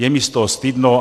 Je mi z toho stydno.